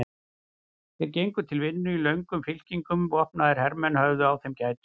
Þeir gengu til vinnu í löngum fylkingum og vopnaðir hermenn höfðu á þeim gætur.